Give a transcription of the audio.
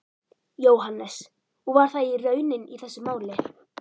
Jóhannes: Og var það raunin í þessu máli?